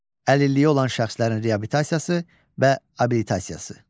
Əlilliyi olan şəxslərin reabilitasiyası və abilitasiyası.